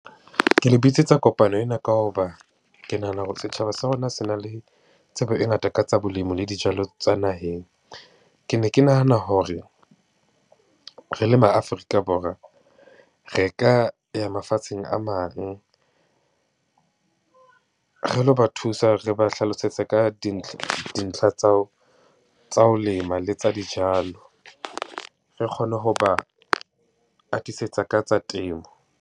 Ke le bitsetsa kopano ena ka ho ba, ke nahana hore setjhaba sa rona se na le tsebo e ngata ka tsa bolemi le dijalo tsa naheng. Ke ne ke nahana hore re le ma Afrika Borwa, re ka ya mafatsheng a mang re lo ba thusa re ba hlalosetse ka dintlha tsa ho, tsa ho lema le tsa dijalo. Re kgone ho ba atisetsa ka tsa temo.